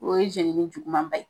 O ye jɛnini juguman ba ye